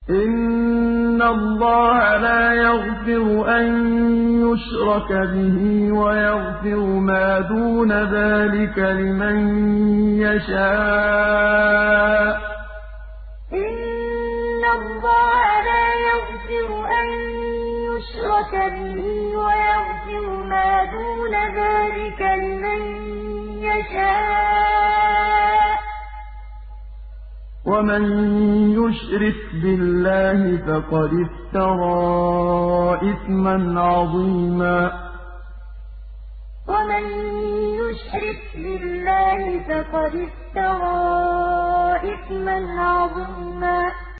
إِنَّ اللَّهَ لَا يَغْفِرُ أَن يُشْرَكَ بِهِ وَيَغْفِرُ مَا دُونَ ذَٰلِكَ لِمَن يَشَاءُ ۚ وَمَن يُشْرِكْ بِاللَّهِ فَقَدِ افْتَرَىٰ إِثْمًا عَظِيمًا إِنَّ اللَّهَ لَا يَغْفِرُ أَن يُشْرَكَ بِهِ وَيَغْفِرُ مَا دُونَ ذَٰلِكَ لِمَن يَشَاءُ ۚ وَمَن يُشْرِكْ بِاللَّهِ فَقَدِ افْتَرَىٰ إِثْمًا عَظِيمًا